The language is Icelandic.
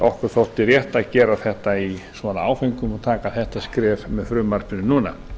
okkur þótti rétt að gera þetta í svona áföngum og taka þetta skref með frumvarpinu núna